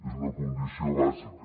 és una condició bàsica